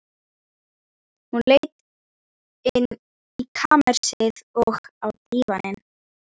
Hún leit inn í kamersið, og á dívaninn.